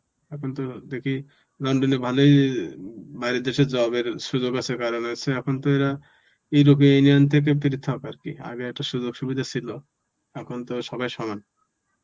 এখন তো দেখি লন্ডনে ভালোই অ্যাঁ বাইরের দেশে job এর সুযোগ আছে কারণ আছে. এখন তো এরা ইউরোপের union থেকে পৃথক আর কি. আগে একটা সুযোগ সুবিধা ছিল. এখন তো সবাই সমান.